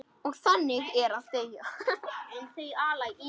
Og þannig er að deyja.